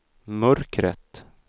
mörkret